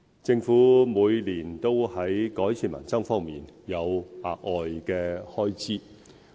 政府每年都在改善民生方面有額外開支。